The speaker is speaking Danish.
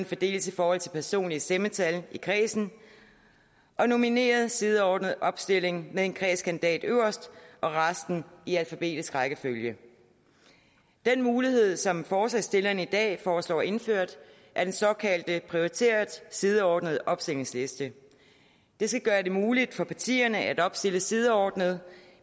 fordeles i forhold til personlige stemmetal i kredsen og nomineret sideordnet opstilling med en kredskandidat øverst og resten i alfabetisk rækkefølge den mulighed som forslagsstillerne i dag foreslår indført er den såkaldte prioriteret sideordnet opstillingsliste det skal gøre det muligt for partierne at opstille sideordnet